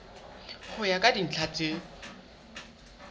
ho ya ka dintlha tse